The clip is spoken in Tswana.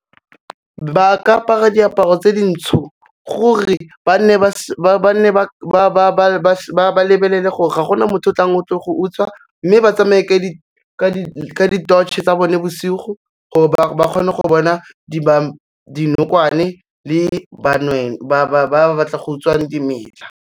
Ba ka apara diaparo tse dintsho, gore ba lebelele gore ga gona motho o tlang go tlo go utswa mme ba tshamaye ka di-torch-e tsa bone bosigo, gore ba kgone go bona dinokwane le ba ba batlang go utswa dimela.